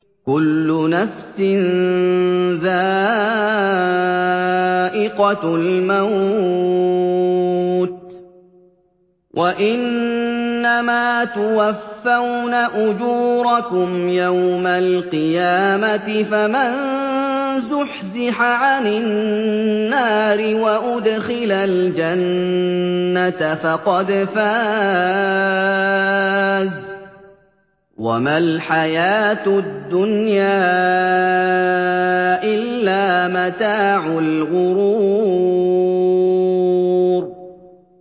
كُلُّ نَفْسٍ ذَائِقَةُ الْمَوْتِ ۗ وَإِنَّمَا تُوَفَّوْنَ أُجُورَكُمْ يَوْمَ الْقِيَامَةِ ۖ فَمَن زُحْزِحَ عَنِ النَّارِ وَأُدْخِلَ الْجَنَّةَ فَقَدْ فَازَ ۗ وَمَا الْحَيَاةُ الدُّنْيَا إِلَّا مَتَاعُ الْغُرُورِ